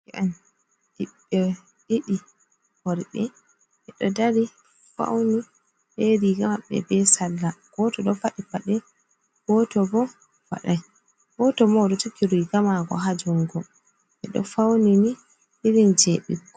Ɗerke en, ɓiɓɓe ɗiɗi worɓe. Ɓe ɗo ɗari fauni, ɓe riga maɓɓe ɓe salla. Goto ɗo faɗi paɗɗe. Goto ɓo faɗai. Goto ɓo oɗo jogi riga mako ha jungo. Ɓe ɗo fauni ni irinje ɓikkon.